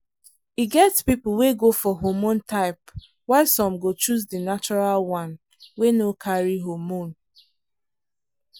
e get people wey go for hormone type while some go choose the natural one wey no carry hormone.